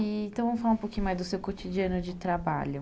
Então, vamos falar um pouquinho mais do seu cotidiano de trabalho.